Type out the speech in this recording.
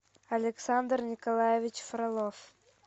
александр николаевич фролов